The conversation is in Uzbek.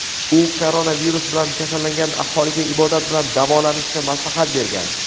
U koronavirus bilan kasallangan aholiga ibodat bilan davolanishni maslahat bergan.